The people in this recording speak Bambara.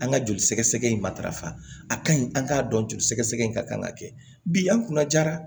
An ka joli sɛgɛsɛgɛ in ma tarafa a ka ɲi an k'a dɔn joli sɛgɛsɛgɛ in ka kan ka kɛ bi an kunna jara